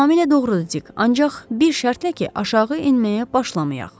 Tamamilə doğrudur Dik, ancaq bir şərtlə ki, aşağı enməyə başlamayaq.